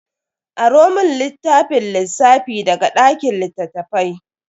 Aro mun littafin lissafi daga dakin littafai.